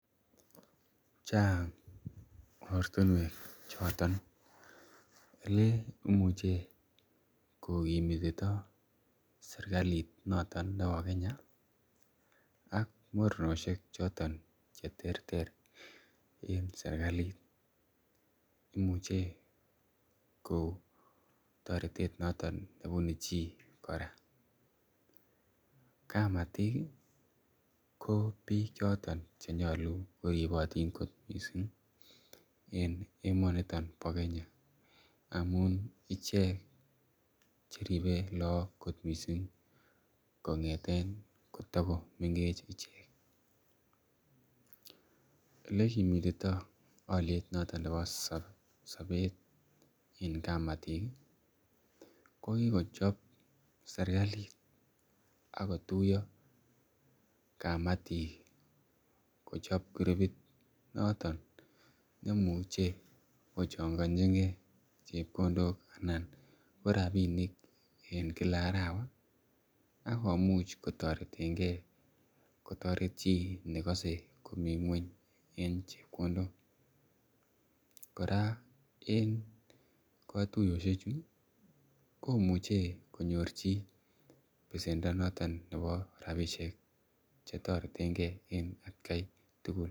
Chang ortinuek choton oleimuch kokimitito sirkalit noton nebo Kenya ak mornosiek choton cheterter, en serkalit, imuche ko taretet noton nebunu chi anan, kamatik ih ko bik choton chenyalu koribotin kot missing ih , en emotin bo Kenya amuun ih icheket cheribe lagok koot missing kong'eten kotogo mengechen. Olekimitito , aliet noton nebo sabet, en kamatik ih , kokikochob serkalit akotuyo kamatik Kochab kurupit, asikochangachike noton rabinik en Kila arawa akomuch kotareten ge kotaret chi negase komi ng'uany en chebkondok, kora en katuyosiek chu komuche konyor chi besenda noton neboo , rabisiek chetareten ke en atkai tugul.